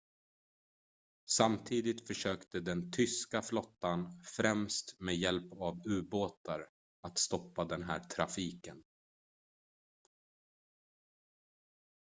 samtidigt försökte den tyska flottan främst med hjälp av u-båtar att stoppa den här trafiken